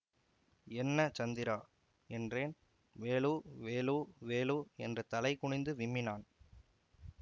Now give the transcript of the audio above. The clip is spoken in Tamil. என்ன சந்திரா என்றேன் வேலு வேலு வேலு என்று தலைகுனிந்து விம்மினான்